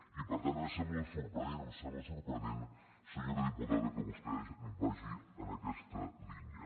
i per tant a mi em sembla sorprenent em sembla sorprenent senyora diputada que vostè vagi en aquesta línia